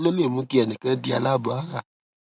kí ló lè mú kí ẹnì kan di aláàbò ara